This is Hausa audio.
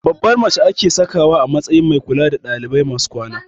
Babbar mace ake sakawa a matsayin mai kula da ɗalibai masu kwana